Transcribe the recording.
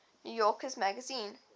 new yorker magazine